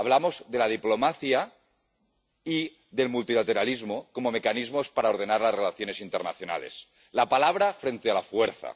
Hablamos de la diplomacia y del multilateralismo como mecanismos para ordenar las relaciones internacionales —la palabra frente a la fuerza—